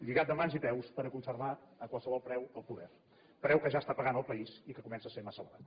lligat de mans i peus per conservar a qualsevol preu el poder preu que ja està pagant el país i que comença a ser massa elevat